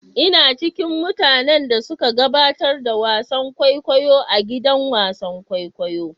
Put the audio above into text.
Ina ciƙin mutanen da suƙa gaɓatar da wasan ƙwaiƙwayo a gidan wasan ƙwaiƙwayo.